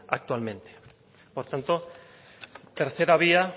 actualmente por tanto tercera vía